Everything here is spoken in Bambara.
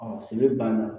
sɛnɛ banna